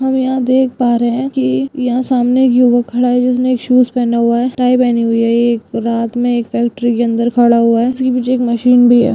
और यहाँ देख पा रहें हैं की यहाँ सामने एक युवक खड़ा है जिसने शूज पहना हुआ है टाई पहनी हुई है एक रात में एक फैक्ट्री के अंदर खड़ा हुआ है उसके पीछे एक मशीन भी है।